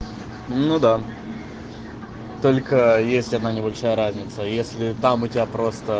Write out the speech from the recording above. ну да только есть одна небольшая разница если там у тебя просто